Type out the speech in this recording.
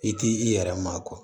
I k'i yɛrɛ maa kɔ